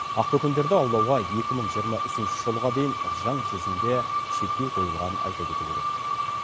ақбөкендерді аулауға екі мың жиырма үшінші жылға дейін заң жүзінде шектеу қойылғанын айта кету керек